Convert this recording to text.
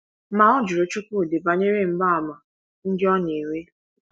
Ma ọ jụrụ Chuwudi banyere mgbaàmà ndị ọ na - enwe.